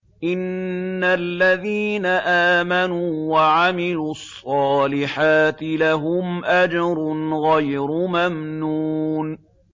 إِنَّ الَّذِينَ آمَنُوا وَعَمِلُوا الصَّالِحَاتِ لَهُمْ أَجْرٌ غَيْرُ مَمْنُونٍ